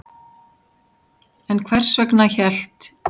En hvers vegna hélt